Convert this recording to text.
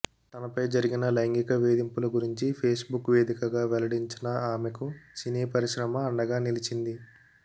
తనపై జరిగిన లైంగిక వేధింపుల గురించి ఫేస్బుక్ వేదికగా వెల్లడించిన ఆమెకు సినీ పరిశ్రమ అండగా నిలిచింది